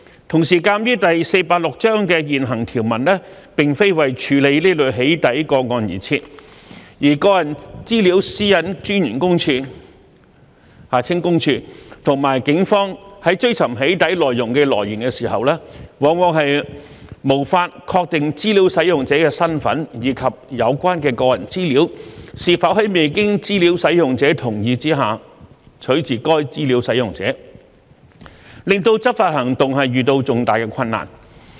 同時，鑒於第486章的現行條文並非為處理這類"起底"個案而設，而個人資料私隱專員公署和警方在追尋"起底"內容的來源時，往往無法確定資料使用者的身份，以及有關的個人資料是否在未經資料使用者同意下取自該資料使用者，令執法行動遇到重大困難。